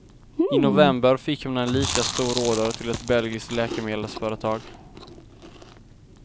I november fick man en lika stor order till ett belgiskt läkemedelsföretag.